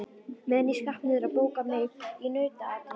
Meðan ég skrapp niður að bóka mig í nautaatið.